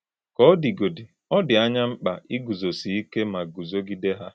Ka ọ dị̀gódị̀, ọ́ dị̀ ányí mkpa ígúzosí íké má gúzogìdé hà.